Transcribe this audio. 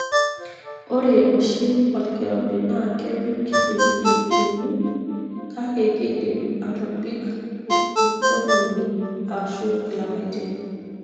ore oshi olkirobi na kebik iwiki uni kake kindim atobik ingologi ashu ilapatin.